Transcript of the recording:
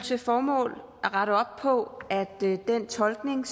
til formål at rette op på at den tolkning